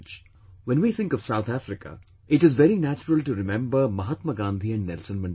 When we think of South Africa, it is very natural to remember Mahatma Gandhi and Nelson Mandela